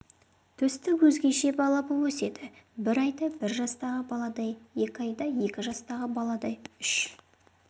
төстік өзгеше бала боп өседі бір айда бір жастағы баладай екі айда екі жастағы баладай үш